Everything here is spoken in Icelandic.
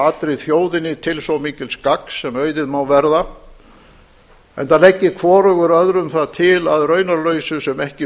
allri þjóðinni til svo mikils gagns sem auðið má verða enda leggi hvorugur öðrum það til að raunarlausu sem ekki